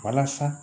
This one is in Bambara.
Walasa